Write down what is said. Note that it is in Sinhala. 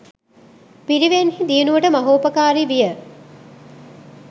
පිරිවෙන්හි දියුණුවට මහෝපකාරි විය.